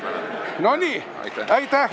Aitäh ja edu!